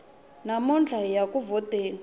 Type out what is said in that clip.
namuntlha hiya ku vhoteni